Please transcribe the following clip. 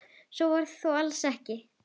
Svo var þó alls ekki.